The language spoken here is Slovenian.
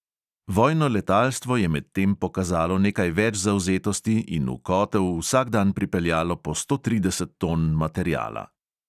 Vojno letalstvo je medtem pokazalo nekaj več zavzetosti in v kotel vsak dan pripeljalo po sto trideset ton materiala.